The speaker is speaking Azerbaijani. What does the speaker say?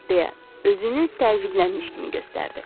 deyə özünü təəccüblənmiş kimi göstərdi.